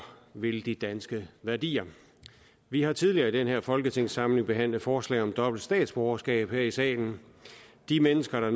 vil de danske værdier vi har tidligere i den her folketingssamling behandlet forslag om dobbelt statsborgerskab her i salen de mennesker